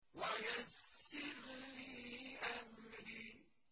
وَيَسِّرْ لِي أَمْرِي